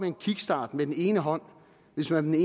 en kickstart med den ene hånd hvis man med